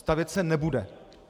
Stavět se nebude.